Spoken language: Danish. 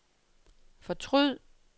fortryd